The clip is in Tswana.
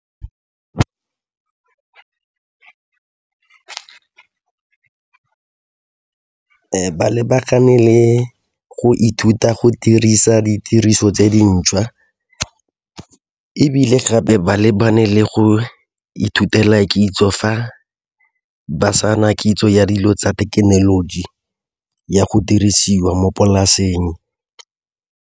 Ba lebagane le go ithuta go dirisa ditiriso tse dintšhwa ebile gape ba lebane le go ithutela kitso fa ba sa na kitso ya dilo tsa thekenoloji ya go dirisiwa mo polaseng.